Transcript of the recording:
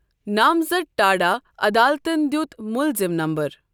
نامزد ٹاڈا عدالتَن دِیُت مُلزِم نمبر۔